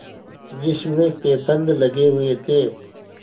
जिसमें पैबंद लगे हुए थे